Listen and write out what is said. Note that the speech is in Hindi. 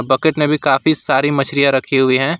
बकेट में भी काफी सारी मछलियां रखी हुई है।